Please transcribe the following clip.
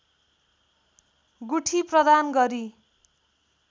गुठी प्रदान गरी